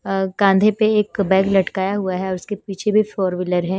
कांधे पे एक बैग लटकाया हुआ है और उसके पीछे भी फोर व्हीलर है।